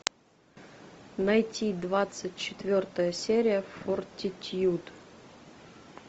найти двадцать четвертая серия фортитьюд